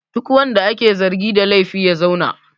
Duk wanda ake zargi da laifi ya zauna!